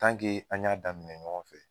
an y'a daminɛ ɲɔgɔn fɛ.